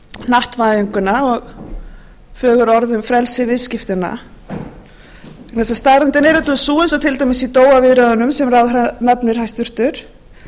hnattvæðinguna og fögur orð um frelsi viðskiptanna vegna þess að staðreyndin er auðvitað sú eins og til dæmis í viðræðunum sem ráðherra nefnir hæstvirtur